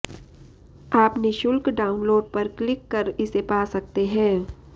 आप निःशुल्क डाउनलोड पर क्लिक कर इसे पा सकते हैं